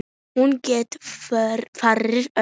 Hún gekk fyrir olíu.